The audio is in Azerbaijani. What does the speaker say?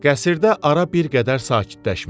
Qəsirdə ara bir qədər sakitləşmişdi.